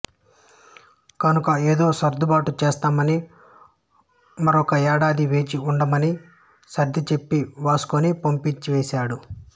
కనుక ఏదో సర్దుబాటు చేస్తానని మరొక్క ఏడాది వేచి ఉండమని సర్దిచెప్పి వాస్కోని పంపించేశాడు